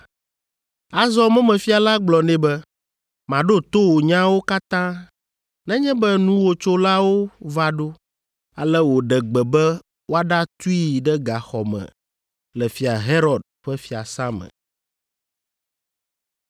Azɔ mɔmefia la gblɔ nɛ be, “Maɖo to wò nyawo katã nenye be nuwòtsolawo va ɖo.” Ale wòɖe gbe be woaɖatui ɖe gaxɔ me le Fia Herod ƒe fiasã me.